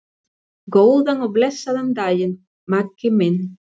Góðan og blessaðan daginn, Maggi minn.